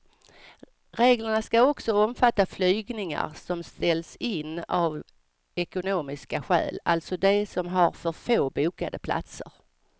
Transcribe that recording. Reglerna ska också omfatta flygningar som ställs in av ekonomiska skäl, alltså de som har för få bokade platser.